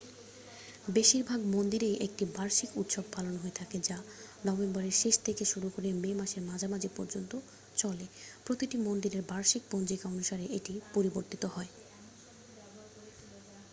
বেশিরভাগ মন্দিরেই একটি বার্ষিক উৎসব পালন হয়ে থাকে যা নভেম্বরের শেষ থেকে শুরু করে মে মাসের মাঝামাঝি পর্যন্ত চলে প্রতিটি মন্দিরের বার্ষিক পঞ্জিকা অনুসারে এটি পরিবর্তিত হয়